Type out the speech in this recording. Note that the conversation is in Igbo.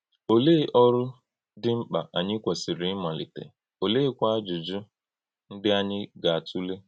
Òlee òrụ dị mkpa ànyí kwèsìrì ímalítè, ólèékwà àjụ́jụ́ ndí ànyí gà-átùlè?